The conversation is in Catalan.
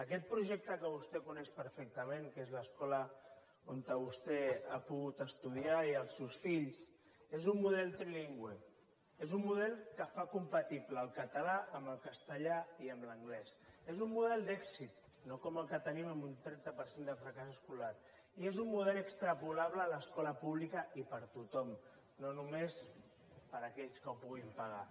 aquest projecte que vostè coneix perfectament que és l’escola on vostè ha pogut estudiar i els seus fills és un model trilingüe és un model que fa compatible el català amb el castellà i amb l’anglès és un model d’èxit no com el que tenim amb un trenta per cent de fracàs escolar i és un model extrapolable a l’escola pública i per a tothom no només per a aquells que ho puguin pagar